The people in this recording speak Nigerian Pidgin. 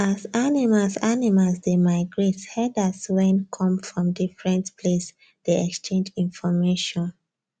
as animals animals dey migrate herders wen come from different place dey exchange information